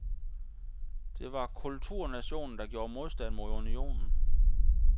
Det var kulturnationen der gjorde modstand mod unionen.